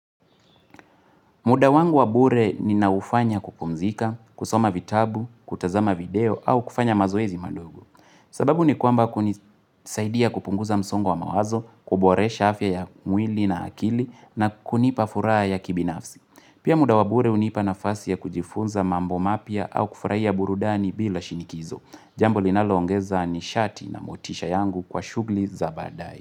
Muda wangu wabure ninaufanya kupumzika, kusoma vitabu, kutazama video au kufanya mazoezi madogo sababu ni kwamba kunisaidia kupunguza msongo wa mawazo, kuboresha afya ya mwili na akili na kunipa furaha ya kibinafsi. Pia muda wabure unipa nafasi ya kujifunza mambo mapya au kufraia burudani bila shinikizo. Jambo linaloongeza ni shati na motisha yangu kwa shugli za badae.